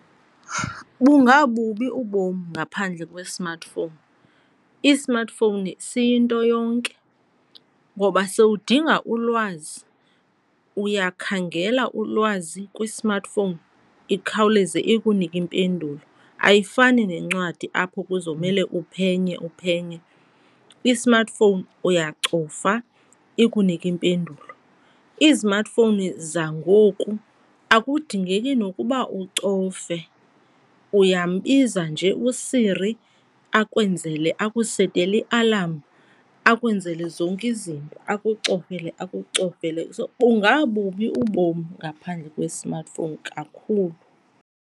Bungabubi ubom ngaphandle kwe-smartphone. I-smartphone siyinto yonke ngoba sewudinga ulwazi uyakhangela ulwazi kwi-smartphone, ikhawuleze ikunike impendulo. Ayifani nencwadi apho kuzomele uphenye uphenye, i-smartphone uyacofa ikunike impendulo. Izimatifowuni zangoku akudingeki nokuba ucofe, uyambiza nje uSiri akwenzele akusetele ialamu, akwenzele zonke izinto, akucofele akucofele. So bungabubi ubom ngaphandle kwe-smartphone kakhulu.